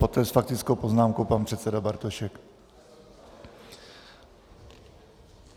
Poté s faktickou poznámkou pan předseda Bartošek.